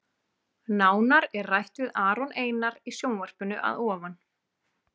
Nánar er rætt við Aron Einar í sjónvarpinu að ofan.